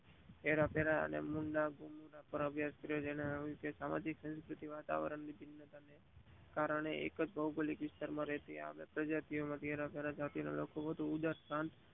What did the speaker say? હરિ ફરીને ઊરપૂરોનાં ભવ્ય સ્થળો માં સામાજિક સંસ્કુતિ ના વાતવરણ ના કારણે એકજ ભૌમિક વિસ્તાર માં રહેલી પ્રજાતિઓ માંથી